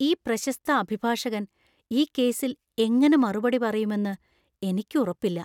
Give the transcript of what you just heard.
ഈ പ്രശസ്‌ത അഭിഭാഷകൻ ഈ കേസിൽ എങ്ങനെ മറുപടി പറയുമെന്ന് എനിക്ക് ഉറപ്പില്ലാ.